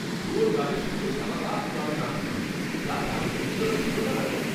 জোর গানের সঙ্গে সারা রাত ক্লাবে নাচলাম। যা দারুণ অভিজ্ঞতা ছিল না!